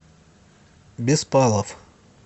беспалов